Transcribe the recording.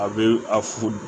A bɛ a fu